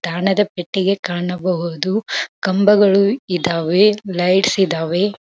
ತಾಣದ ಪೆಟ್ಟಿಗೆ ಕಾಣಬಹುದು ಕಂಬಗಳು ಇದಾವೆ ಲೈಟ್ಸ್ ಇದಾವೆ.